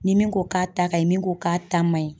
Ni min ko k'a ta ka ɲin, min ko k'a ta ma ɲin.